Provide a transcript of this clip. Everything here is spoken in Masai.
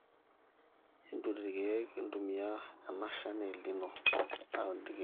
entuun ilkiek, entumia enashan e elnino aun ilkiek